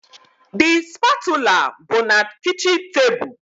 The spatula bụ na kichin table